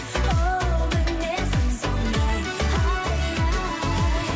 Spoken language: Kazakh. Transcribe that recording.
оу мінезім сондай ай ай